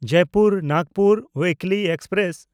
Jaipur Nagpur ᱩᱭᱤᱠᱞᱤ express